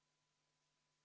V a h e a e g